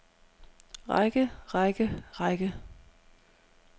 række række række